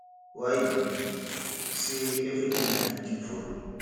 why e be say everything na big thing for you